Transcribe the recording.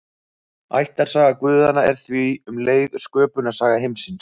Ættarsaga guðanna er því um leið sköpunarsaga heimsins.